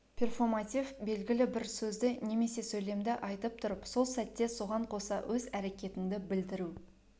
перфоматив білгілі бір сөзді немесе сөйлемді айтып тұрып сол сәтте соған қоса өз әрекетінді білдіру